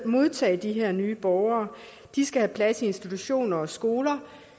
modtage de her nye borgere de skal have plads i institutioner og skoler